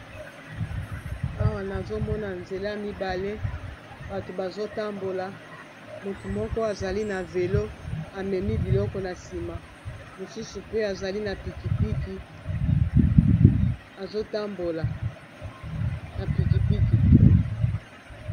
Awa nazomona nzela mibale bato bazotambola motu moko azali na velo amemi biloko na nsima mosusu pe azali na pikipiki azotambola na piki piki.